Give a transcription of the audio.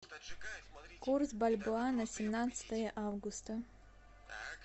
курс бальбоа на семнадцатое августа